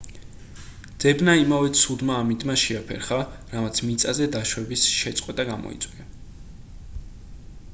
ძებნა იმავე ცუდმა ამინდმა შეაფერხა რამაც მიწაზე დაშვების შეწყვეტა გამოიწვია